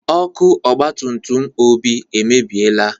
Ọkụ ọgbatutum Obi emebieela.